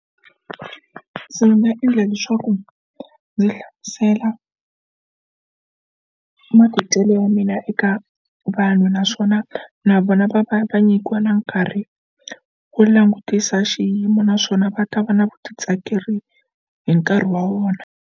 Ku se ni nga endla leswaku ndzi hlasela matidyelo ya mina eka vanhu naswona na vona va va va nyikiwa na nkarhi ku langutisa xiyimo naswona va ta va na vutitsakeri hi nkarhi wa vona.